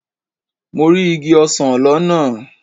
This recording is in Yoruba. Mo rí igi ọsán lọ́nà.